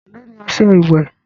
èló ní ọṣẹ ìwé?